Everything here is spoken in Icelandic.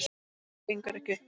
Það gengur ekki upp.